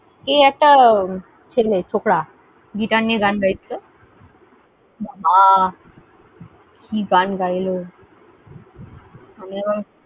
এ একটা ছেলে, ছোকরা, guitar নিয়ে গান গাইছিল, বাবা, কি গান গাইল